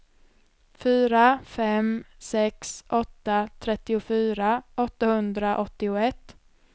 fyra fem sex åtta trettiofyra åttahundraåttioett